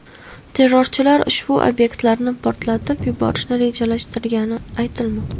Terrorchilar ushbu obyektlarni portlatib yuborishni rejalashtirgani aytilmoqda.